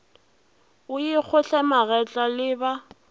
o ikgohle magetla le ba